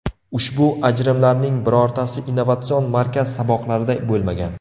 Ushbu ajrimlarning birortasi innovatsion markaz saboqlarida bo‘lmagan.